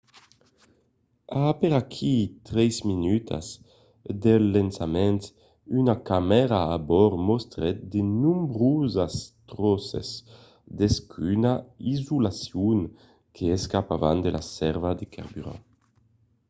a aperaquí 3 minutas del lançament una camèra a bòrd mostrèt de nombrosas tròces d'escuma d'isolacion que s'escapavan de la sèrva de carburant